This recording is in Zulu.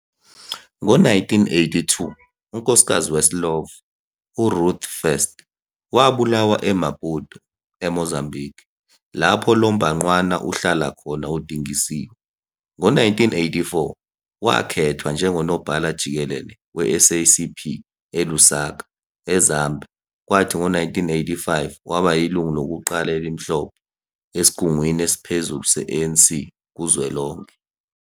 Ngo-1982, unkosikazi weSlovo, uRuth First wabulawa eMaputo, eMozambiki, lapho lo mbhangqwana uhlala khona udingisiwe. Ngo-1984, wakhethwa njengoNobhala Jikelele weSACP eLusaka, eZambia, kwathi ngo-1985, waba yilungu lokuqala elimhlophe esigungwini esiphezulu se-ANC kuzwelonke.